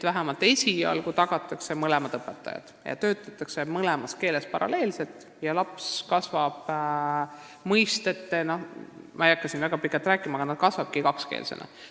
Vähemalt esialgu tagatakse mõlema õpetaja olemasolu, töötatakse paralleelselt mõlemas keeles ja laps kasvabki – ma ei hakka siin väga pikalt rääkima – kakskeelsena.